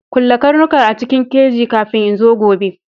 Kulle karnukan a cikin keji kafin in zo gobe!